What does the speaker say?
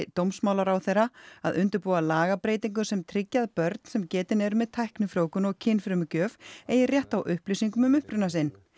dómsmálaráðherra að undirbúa lagabreytingu sem tryggi að börn sem getin eru með tæknifrjóvgun og kynfrumugjöf eigi rétt á upplýsingum um uppruna sinn